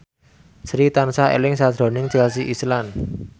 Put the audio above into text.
Sri tansah eling sakjroning Chelsea Islan